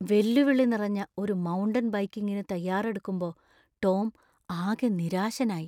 വെല്ലുവിളി നിറഞ്ഞ ഒരു മൗണ്ടൻ ബൈക്കിംഗിനു തയ്യാറെടുക്കുമ്പോ ടോം ആകെ നിരാശനായി.